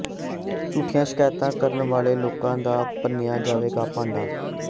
ਝੂਠੀਆਂ ਸ਼ਿਕਾਇਤਾਂ ਕਰਨ ਵਾਲੇ ਲੋਕਾਂ ਦਾ ਭੰਨਿ੍ਹਆ ਜਾਵੇਗਾ ਭਾਂਡਾ